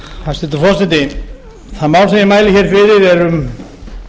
hæstvirtur forseti það mál sem ég mæli hér fyrir er um